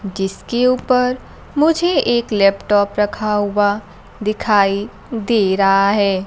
जिसके ऊपर मुझे एक लैपटॉप रखा हुआ दिखाई दे रहा है।